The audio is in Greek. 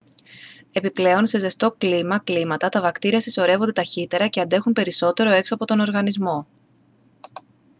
επιπλέον σε ζεστό κλίμα κλίματα τα βακτήρια συσσωρεύονται ταχύτερα και αντέχουν περισσότερο έξω από τον οργανισμό